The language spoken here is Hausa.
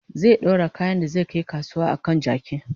zai ɗaura kayan da zai Kai kasuwa a kan jaki